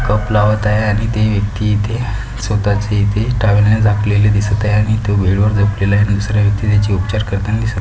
cup लावत आहे आणि ते व्यक्ति इथे स्वताची इथे टावेल ने झाकलेली दिसत आहे आणि इथे बेड वर झोपलेला आहे दूसरे व्यक्ति त्याची उपचार करताना दिसत--